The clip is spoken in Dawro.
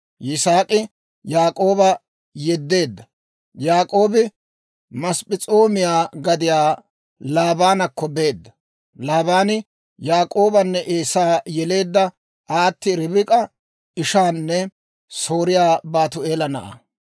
Yisaak'i Yaak'ooba yeddeedda; Yaak'oobi Masp'p'es'oomiyaa gadiyaa Laabaanakko beedda. Laabaani Yaak'oobanne Eesaa yeleedda aati Ribik'a ishaanne Sooriyaa Baatu'eela na'aa.